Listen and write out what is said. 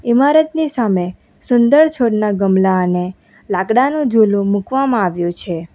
ઈમારતની સામે સુંદર છોડના ગમલા અને લાકડાનો ઝૂલો મૂકવામાં આવ્યો છે.